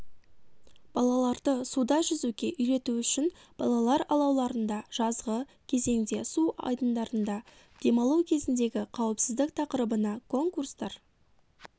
балаларды суда жүзуге үйрету үшін балалар алауларында жазғы кезеңде су айдындарында демалу кезіндегі қауіпсіздік тақырыбына конкурстар